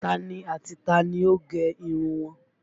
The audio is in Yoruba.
Tani ati tani ó gẹ irun wọn?